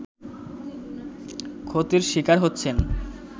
ক্ষতির শিকার হচ্ছেন